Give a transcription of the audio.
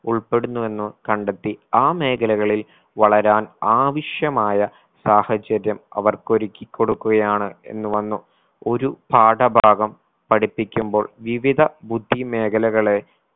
ഉൾപ്പെടുന്നു എന്ന് കണ്ടെത്തി ആ മേഖലകളിൽ വളരാൻ ആവശ്യമായ സാഹചര്യം അവർക്ക് ഒരുക്കി കൊടുക്കുകയാണ് എന്ന് വന്നു ഒരു പാഠഭാഗം പഠിപ്പിക്കുമ്പോൾ വിവിധ ബുദ്ധി മേഖലകളെ